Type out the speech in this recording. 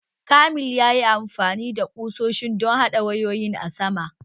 Kamil ya yi amfani da ƙusoshin don haɗa wayoyi a saman